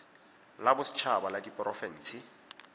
la boset haba la diporofense